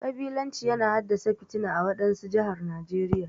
Kabilanci yana haddasa fitina ã wadansu jihar Najeriya.